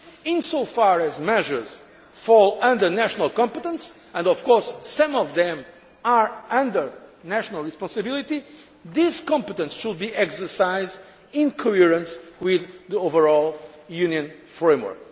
Treaty. Insofar as measures fall under national competence and of course some of them are under national responsibility this competence should be exercised in coherence with the overall Union framework.